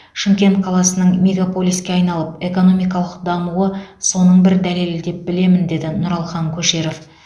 шымкент қаласының мегаполиске айналып экономикалық дамуы соның бір дәлелі деп білемін деді нұралхан көшеров